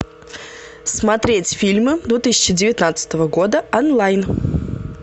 смотреть фильмы две тысячи девятнадцатого года онлайн